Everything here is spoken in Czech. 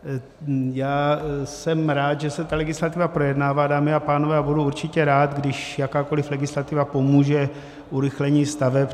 Já jsem rád, že se ta legislativa projednává, dámy a pánové, a budu určitě rád, když jakákoliv legislativa pomůže urychlení staveb.